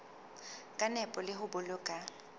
ka nepo le ho boloka